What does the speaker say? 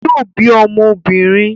Yóò bí ọmọ obìnrin